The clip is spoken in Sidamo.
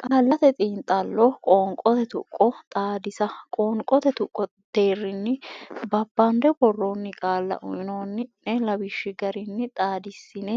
Qaallate Xiinxallo Qoonqote Tuqqo Xaadisa qoonqote tuqqo deerrinni babbande worroonni qaalla uynoonni ne lawishshi garinni xaadissine